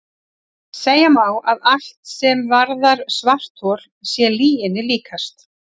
Segja má að allt sem varðar svarthol sé lyginni líkast.